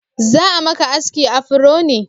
Za'a maka aski afro ne?